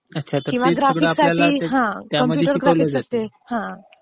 किवहा graphics साठी computer graphics असते